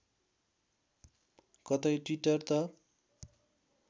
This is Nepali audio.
कतै ट्विटर त